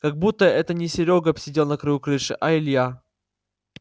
как будто это не серёга сидел на краю крыши а илья